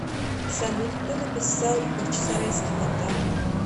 салют кто написал бахчисарайский фонтан